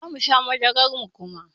Zamu sha madarar muma